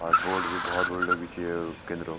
और बोर्ड भी भौतबड़ु लग्यू च ये केंद्रो।